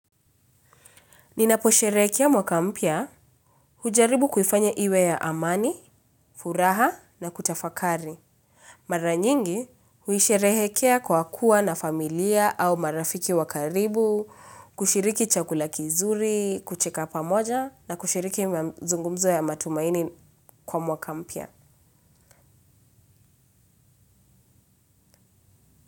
Ninaposherehekea mwaka mpya hujaribu kufanya iwe ya amani, furaha na kutafakari. Mara nyingi huisherehekea kwa kuwa na familia au marafiki wa karibu, kushiriki chakula kizuri, kucheka pamoja na kushiriki mazungumzo ya matumaini kwa mwaka mpya.